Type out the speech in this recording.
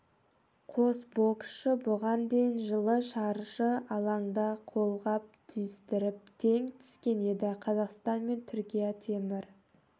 қос боксшы бұған дейін жылы шаршы алаңда қолғап түйістіріп тең түскен еді қазақстан мен түркия темір